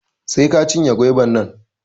Sai ka cinye goiba nan